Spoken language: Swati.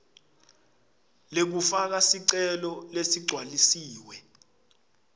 lekufaka sicelo leligcwalisiwe